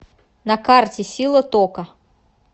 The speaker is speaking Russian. на карте сила тока